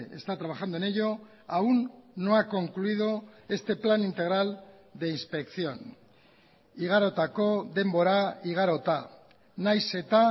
está trabajando en ello aún no ha concluido este plan integral de inspección igarotako denbora igarota nahiz eta